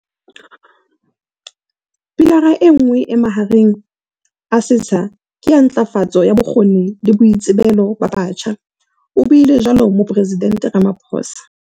"Pilara enngwe e mahareng a setsha ke ya ntlafatso ya bokgoni le boitsebelo ba batjha," o buile jwalo Mopore sidente Ramaphosa.